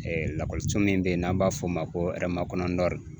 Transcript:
lakɔliso min be yen n'an b'a f'o ma ko Hɛrɛmakɔnɔ Nord